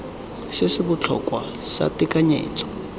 se se botlhokwa sa tekanyetso